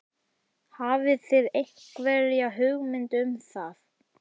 Hafið þið einhverja hugmynd um það?